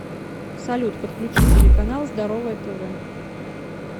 салют подключи телеканал здоровое тв